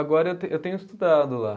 Agora eu te, eu tenho estudado lá.